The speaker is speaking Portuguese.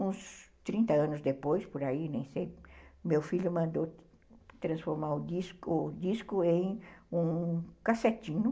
Uns trinta anos depois, por aí, nem sei, meu filho mandou transformar o disco disco em um cassetinho.